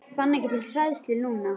Fann ekki til hræðslu núna.